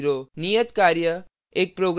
नियतकार्य